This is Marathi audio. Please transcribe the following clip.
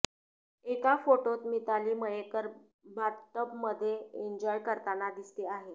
एका फोटोत मिताली मयेकर बाथटबमध्ये एन्जॉय करताना दिसते आहे